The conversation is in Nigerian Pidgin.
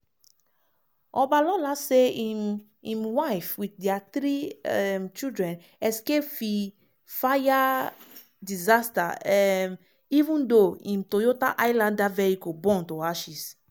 obalola say im im wife with dia three um children escape fi fire disaster um even though im toyota highlander vehicle burn to ashes.